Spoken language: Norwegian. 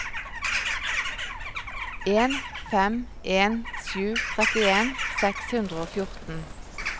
en fem en sju trettien seks hundre og fjorten